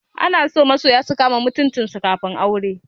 Ana so masoya su kama mutuncin su kafin aure.